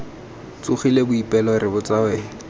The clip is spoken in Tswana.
tsogile boipelo re botsa wena